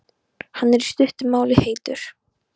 Hann er, í stuttu máli, heitur.